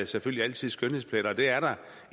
selvfølgelig altid skønhedspletter og det er der